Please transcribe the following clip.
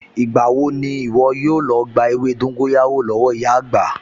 Ìgbà wo ni ìwọ yóò lọ gba ewé dóńgóyárò lọ́wọ́ ìyá àgbà?